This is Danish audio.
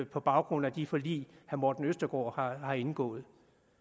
på baggrund af de forlig herre morten østergaard har indgået